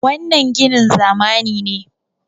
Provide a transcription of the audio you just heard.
wannan ginin zamani ne